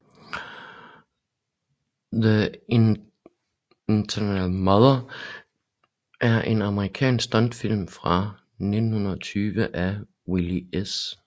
The Eternal Mother er en amerikansk stumfilm fra 1920 af Will S